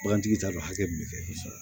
Bagantigi t'a dɔn hakɛ min bɛ kɛ